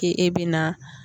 K'e bɛna